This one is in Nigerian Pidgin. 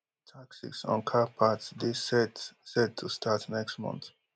taxes on car parts dey set set to start next month